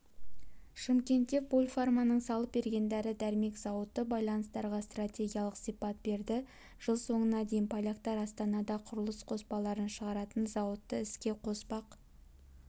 шымкентте польфарманың салып берген дәрі-дәрмек зауыты байланыстарға стратегиялық сипат берді жыл соңына дейін поляктар астанада құрылыс қоспаларын шығаратын зауытты іске қоспақ